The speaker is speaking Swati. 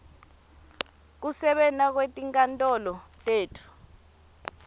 kusebenta kwetinkantolo tetfu